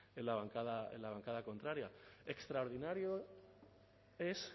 en la bancada contraria extraordinario es